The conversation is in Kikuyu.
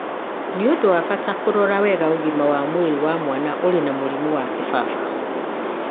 Nĩ ũndũ wa bata kũrora wega ũgima wa mwĩrĩ wa mwana ũrĩ na mũrimũ wa kĩbaba